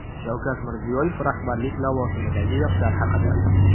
Shavkat Mirziyoyev rahbarlik lavozimidagi yoshlar haqida.